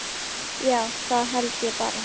Já, það held ég bara.